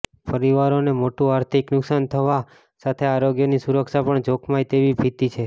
પરિવારોને મોટું આર્થિક નુકસાન થવા સાથેઆરોગ્યની સુરક્ષા પણ જોખમાય તેવી ભીતિ છે